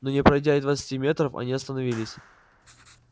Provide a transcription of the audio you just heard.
но не пройдя и двадцати метров они остановились